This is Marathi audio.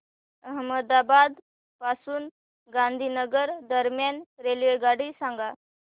अहमदाबाद पासून गांधीनगर दरम्यान रेल्वेगाडी सांगा